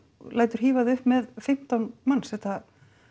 lætur hífa þig upp með fimmtán manns þetta